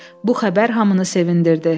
Bu xəbər hamını sevindirdi.